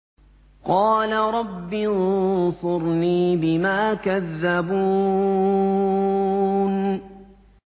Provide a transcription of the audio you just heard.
قَالَ رَبِّ انصُرْنِي بِمَا كَذَّبُونِ